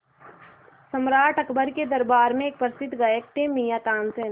सम्राट अकबर के दरबार में एक प्रसिद्ध गायक थे मियाँ तानसेन